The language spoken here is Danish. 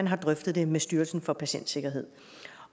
har drøftet det med styrelsen for patientsikkerhed